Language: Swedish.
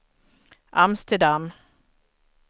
Amsterdam